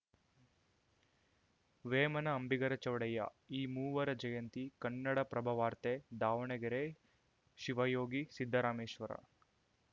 ವೇಮನ ಅಂಬಿಗರ ಚೌಡಯ್ಯ ಈ ಮೂವರ ಜಯಂತಿ ಕನ್ನಡಪ್ರಭವಾರ್ತೆ ದಾವಣಗೆರೆ ಶಿವಯೋಗಿ ಸಿದ್ದರಾಮೇಶ್ವರ